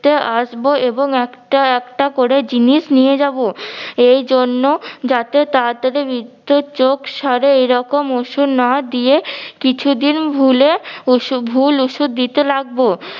তে আসবো এবং একটা একটা করে জিনিস নিয়ে যাব। এইজন্য যাতে তাড়াতড়ি বৃদ্ধর চোখ সাড়ে এরকম ওষুধ না দিয়ে কিছুদিন ভুলে অসু ভুল ওষুধ দিতে লাগব